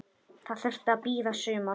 Það þurfti að bíða sumars.